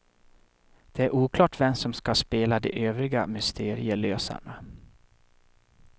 Det är oklart vem som ska spela de övriga mysterielösarna.